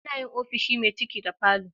Ana yin ofishi me ciki da falo